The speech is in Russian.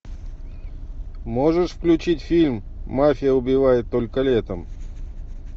можешь включить фильм мафия убивает только летом